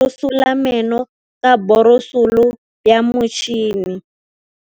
Bonolô o borosola meno ka borosolo ya motšhine.